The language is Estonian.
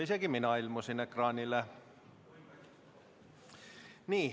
Isegi mina ilmusin ekraanile.